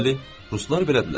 Bəli, ruslar belədilər.